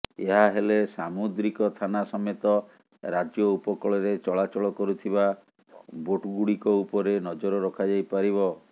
ଏହା ହେଲେ ସାମୁଦ୍ରିକ ଥାନା ସମେତ ରାଜ୍ୟ ଉପକୂଳରେ ଚଳାଚଳ କରୁଥିବା ବୋଟ୍ଗୁଡ଼ିକ ଉପରେ ନଜର ରଖାଯାଇପାରିବ